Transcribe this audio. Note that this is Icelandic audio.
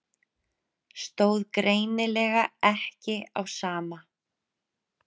Stóð greinilega ekki á sama.